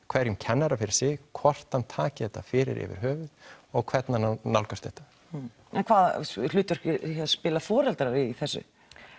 hverjum kennara fyrir sig hvort að hann taki þetta fyrir yfir höfuð og hvernig hann á nálgast þetta en hvaða hlutverk spila foreldrar í þessu